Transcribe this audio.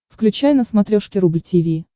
включай на смотрешке рубль ти ви